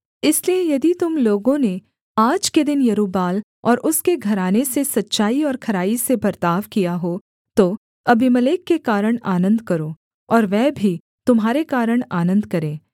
इसलिए यदि तुम लोगों ने आज के दिन यरूब्बाल और उसके घराने से सच्चाई और खराई से बर्ताव किया हो तो अबीमेलेक के कारण आनन्द करो और वह भी तुम्हारे कारण आनन्द करे